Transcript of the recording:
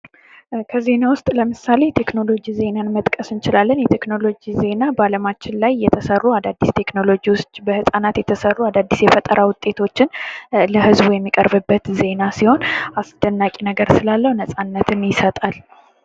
ከዜና ውስጥ ለምሳሌ ቴክኖሎጂ ዜናን መጥቀስ እንችላለን። የቴክኖሎጂ ዜና በአለማችን ላይ የተሰሩ አዳዲስ ቴክኖሎጂወች በፃናት የተሰሩ አዳዲስ የፈጠራ ውጤቶችን ለህዝቡ የሚቀርብበት ዜና ሲሆን አስደናቂ ነገር ስላለው ነፃነትን ይሰጣል።